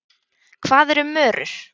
Hvað eru mörur?